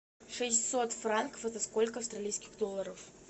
шестьсот франков это сколько австралийских долларов